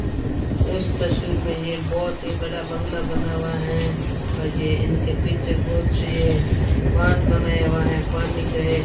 इस तस्वीर में ये बहुत ही बड़ा बंगला बना हुआ है और ये इनके पीछे कुछ ये बांध बनाया हुआ है पानी के।